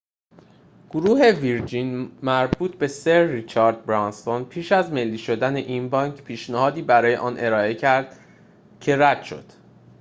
گروه ویرجین مربوط به سر ریچارد برانسون پیش از ملی شدن این بانک پیشنهادی برای آن ارائه کرده بود که رد شد